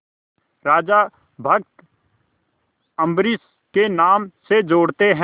राजा भक्त अम्बरीश के नाम से जोड़ते हैं